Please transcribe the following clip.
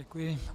Děkuji.